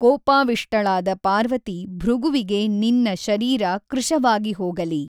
ಕೋಪಾವಿಷ್ಟಳಾದ ಪಾರ್ವತಿ ಭೃಗುವಿಗೆ ನಿನ್ನ ಶರೀರ ಕೃಶವಾಗಿಹೋಗಲಿ!